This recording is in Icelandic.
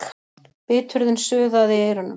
Biturðin suðaði í eyrunum.